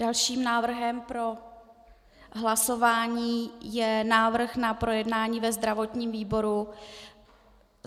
Dalším návrhem pro hlasování je návrh na projednání ve zdravotním výboru.